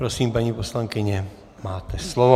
Prosím, paní poslankyně, máte slovo.